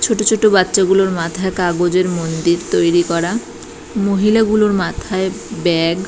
ছোট ছোট বাচ্চা গুলোর মাথায় কাগজের মন্দির তৈরী করা মহিলা গুলোর মাথায় ব্যাগ ।